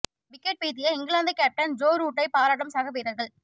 wicket வீழ்த்திய England captain Joe ரூட்டை பாராட்டும் சக வீரர்கள்